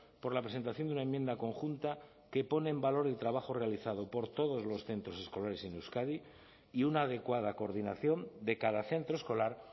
por la presentación de una enmienda conjunta que pone en valor el trabajo realizado por todos los centros escolares en euskadi y una adecuada coordinación de cada centro escolar